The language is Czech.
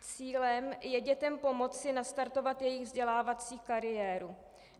Cílem je dětem pomoci nastartovat jejich vzdělávací kariéru.